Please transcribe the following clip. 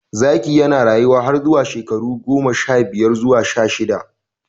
Zaki yana rayuwa har zuwa shekaru goma sha biyar zuwa sha shida.